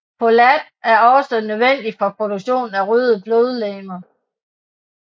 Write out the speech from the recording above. Folat er også nødvendig for produktionen af røde blodlegemer